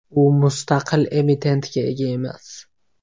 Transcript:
U mustaqil emitentga ega emas.